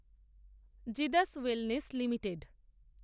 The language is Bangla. Zydus wellness limited